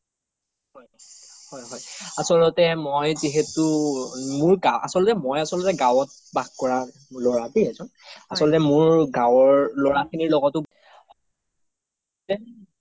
হয় হয় আচলতে মই যিহেতু মই আচলতে গাওত বাস কৰা ল্'ৰা এজন আচলতে মোৰ গাওৰ ল্'ৰা খিনিৰ লগতো